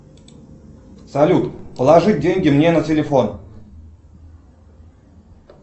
салют положи деньги мне на телефон